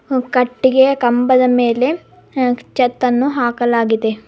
ಹು ಕಟ್ಟಿಗೆಯ ಕಂಬದ ಮೇಲೆ ಹ ಚಾತ್ಅನ್ನು ಹಾಕಲಾಗಿದೆ.